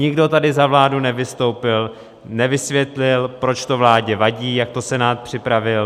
Nikdo tady za vládu nevystoupil, nevysvětlil, proč to vládě vadí, jak to Senát připravil.